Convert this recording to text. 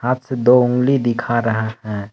हाथ से दो उंगली दिखा रहा हैं।